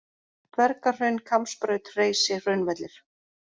Dvergahraun, Kambsbraut, Hreysi, Hraunvellir